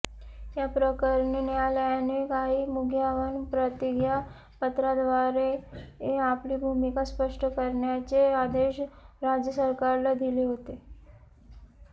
याप्रकरणी न्यायालयाने काही मुद्यांवर प्रतिज्ञापत्राद्वारे आपली भूमिका स्पष्ट करण्याचे आदेश राज्य सरकारला दिले होते